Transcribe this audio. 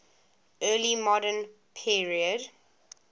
early modern period